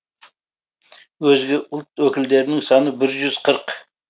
өзге ұлт өкілдерінің саны бір жүз қырық